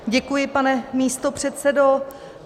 Děkuji, pane místopředsedo.